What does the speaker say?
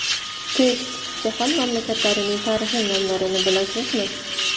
Test: Jahon mamlakatlarining tarixiy nomlarini bilasizmi?.